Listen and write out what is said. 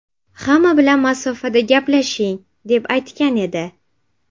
Hamma bilan masofada gaplashing”, deb aytgan edi .